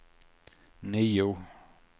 nio